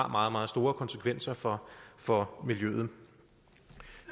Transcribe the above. meget meget store konsekvenser for for miljøet